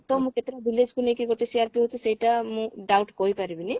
ତ ମୁଁ କେତେଟା village କୁ ନେଇକି ଗୋଟେ CRP ହଉଛି ସେଇଟା ମୁଁ doubt କରିପାରିବିନି